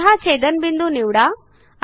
C हा छेदनबिंदू निवडा